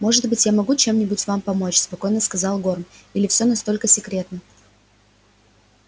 может быть я могу чем-нибудь вам помочь спокойно сказал горм или всё настолько секретно